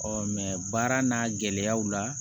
baara n'a gɛlɛyaw la